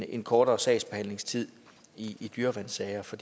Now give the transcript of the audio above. en kortere sagsbehandlingstid i dyreværnssager for